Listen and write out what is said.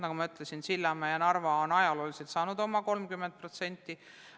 Nagu ma ütlesin, Sillamäe ja Narva on saanud oma 30% lisaraha.